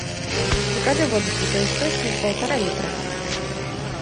закажи воду святой источник полтора литра